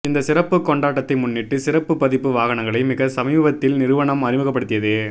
இந்த சிறப்பு கொண்டாட்டத்தை முன்னிட்டு சிறப்பு பதிப்பு வாகனங்களை மிக சமீபத்தில் நிறுவனம் அறிமுகப்படுத்தியது